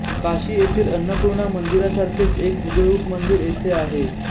काशी येथील अन्नपूर्णा मंदिरासारखेच एक हुबेहुब मंदिर येथे आहे